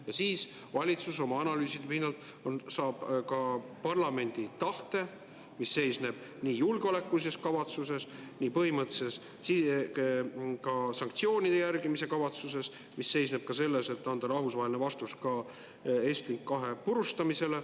Ja siis valitsus oma analüüside pinnalt saab ka parlamendi tahte, mis seisneb nii põhimõttelises julgeolekulises kavatsuses, sanktsioonide järgimise kavatsuses ja mis seisneb ka selles, et anda rahvusvaheline vastus Estlink 2 purustamisele.